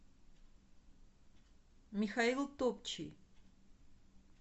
михаил топчий